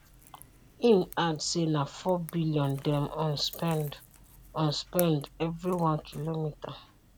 im add say na four billion dem on spend on spend every one kilometre